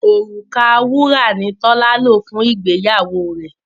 Òrùka wúrà ni Tọ́lá lò fún ìgbéyàwó rẹ̀